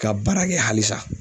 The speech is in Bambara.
Ka baara kɛ halisa.